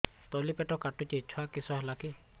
ତଳିପେଟ କାଟୁଚି ଛୁଆ କିଶ ହେଲା କି